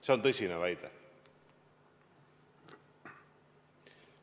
See on tõsine väide.